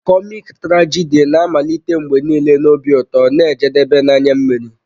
Kọmik trajidi na-amalite mgbe niile na obi ụtọ na-ejedebe na anya mmiri.